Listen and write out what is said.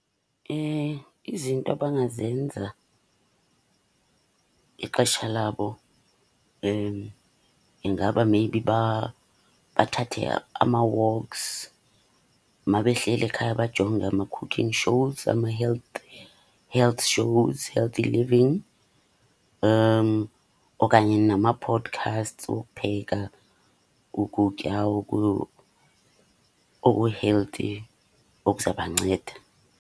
Izinto abangazenza ixesha labo ingaba maybe bathathe ama-walks. Uma behleli ekhaya bajonge ama-cooking shows, ama-health, health shows, healthy living okanye nama-podcasts wokupheka ukutya oku-healthy okuzabanceda.